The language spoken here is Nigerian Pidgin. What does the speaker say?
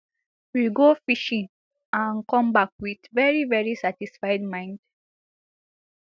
we go fishing and come back wit veri veri satisfied mind